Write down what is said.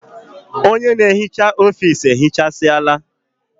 Ọnye na ehicha ofisi ehichasiala